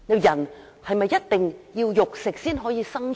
人是否一定要食肉才可生存？